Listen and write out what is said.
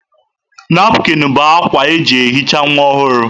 Napụkịn bụ akwa eji ehicha nwa ọhụrụ.